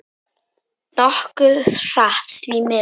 Nokkuð hratt, því miður.